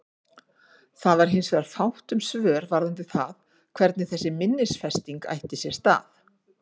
Það var hins vegar fátt um svör varðandi það hvernig þessi minnisfesting ætti sér stað.